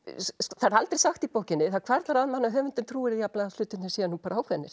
það er aldrei sagt í bókinni en það hvarflar að manni að höfundur trúi því jafnvel að hlutirnir séu nú bara ákveðnir